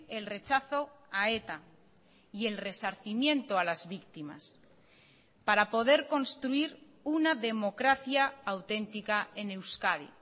el rechazo a eta y el resarcimiento a las víctimas para poder construir una democracia auténtica en euskadi